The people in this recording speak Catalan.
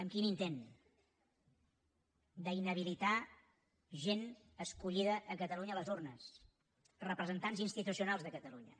amb quin intent d’inhabilitar gent escollida a catalunya a les urnes representants institucionals de catalunya